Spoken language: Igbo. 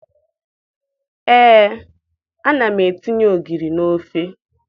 Ee, ana m etinye ogiri n'ofe